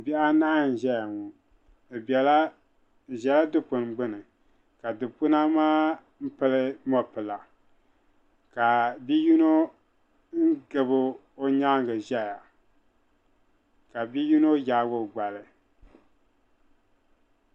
Bihi anahi n-ʒeya ŋɔ bɛ ʒela dukpuni gbuni ka dukpuna maa pili mɔpila ka bi'yino gabi o nyaaŋa ʒeya ka bi'yino yaagi o gbali.